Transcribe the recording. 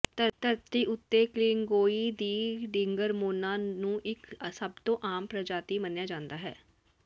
ਧਰਤੀ ਉੱਤੇ ਕਲਿੰਗੋਈ ਦੀ ਡਿਗਰਮੋਨਾ ਨੂੰ ਇੱਕ ਸਭ ਤੋਂ ਆਮ ਪ੍ਰਜਾਤੀ ਮੰਨਿਆ ਜਾਂਦਾ ਹੈ